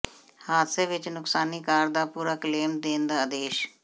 ਹਾਦਸੇ ਵਿਚ ਨੁਕਸਾਨੀ ਕਾਰ ਦਾ ਪੂਰਾ ਕਲੇਮ ਦੇਣ ਦਾ ਆਦੇਸ਼